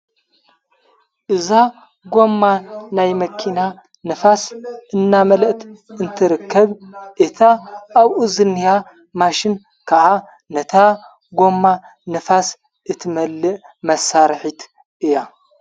እዛ ጐማ ናይ መኪና ንፋስ እናመለእት እንተርከብ እታ ኣብኡዘንሃ ማሽን ከዓ ነታ ጐማ ንፋስ እትመልእ መሣርሒት እያ::